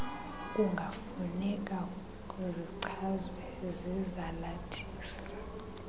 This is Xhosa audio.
kungafuneka zichazwe zizalathisi